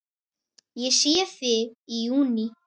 Ég sé þig í júní.